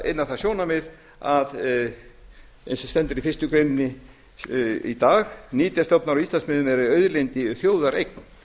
inn á það sjónarmið eins og stendur í fyrstu grein í dag nytjastofnar á íslandsmiðum verði auðlind í þjóðareign